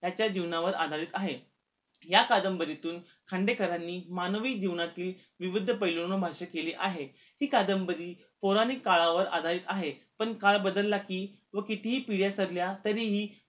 त्याच्या जीवनावर आधारित आहे या कादंबरीतून खांडेकरांनी मानवी जीवनातील विविध पैलूंनी भाषा केली आहे हि कादंबरी पौराणिक काळावर आधारित आहे पण काळ बदलला कि व कितीही पिढ्या सरल्या तरी हि